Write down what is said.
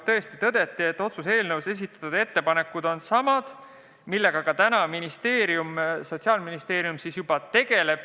Tõesti tõdeti, et otsuse eelnõus esitatud ettepanekud on samad, millega Sotsiaalministeerium juba tegeleb.